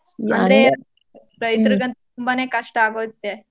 ರೈತ್ರಿಗಂತೂ ತುಂಬಾನೇ ಕಷ್ಟ ಆಗೋಯ್ತದೆ.